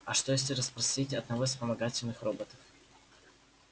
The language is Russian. а что если расспросить одного из вспомогательных роботов